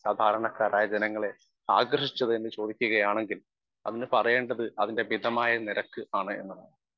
Speaker 1 സാധാരണക്കാരായ ജനങ്ങളെ ആകർഷിച്ചതെന്ന് ചോദിക്കുകയാണെങ്കിൽ അതിന് പറയേണ്ടത് അതിൻ്റെ മിതമായ നിരക്ക് ആണ് എന്നാണ് .